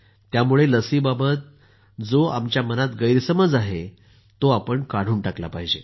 त्यामुळे लसीबाबत जो आमच्या मनात गैरसमज आहे तो आपण काढून टाकला पाहिजे